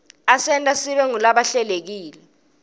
asenta sibe ngulabahlelekile